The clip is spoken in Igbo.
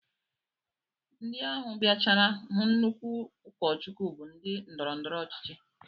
Ndị ahụ bịachara hụ nnukwu ụkọchukwu bụ ndị ndọrọndọrọ ọchịchị